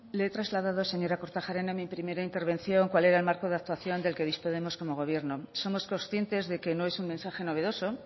le he trasladado señora kortajarena en mi primera intervención cuál era el marco de actuación del que disponemos como gobierno somos conscientes de que no es un mensaje novedoso